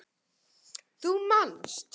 Þú manst.